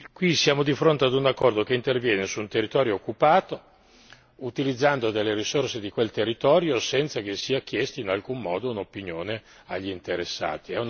Qui siamo di fronte ad un accordo che interviene su un territorio occupato, utilizzando delle risorse di quel territorio senza che sia chiesta in alcun modo un'opinione agli interessati.